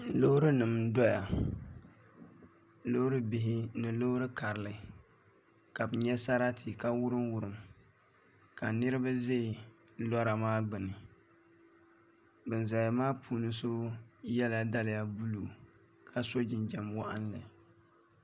Loori nim n doya loori bihi ni loori karili ka bi nyɛ sarati ka wurim wurim ka niraba ʒɛ lora maa gbuni bin ʒɛya maa puuni so yɛla daliya buluu ka so jinjɛm waɣanli